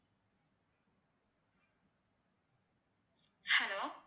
hello